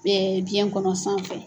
biyɛn kɔnɔ sanfɛ.